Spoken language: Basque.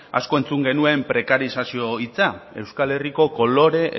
asko entzun genuen prekarizazio hitza euskal herriko kolore